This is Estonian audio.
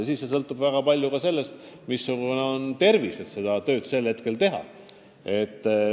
Tõsi, väga palju sõltub ka sellest, missugune on inimese tervis, kas ta ikka suudab oma tööd teha.